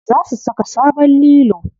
Za su saka sabon lilo.